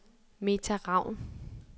Meta Ravn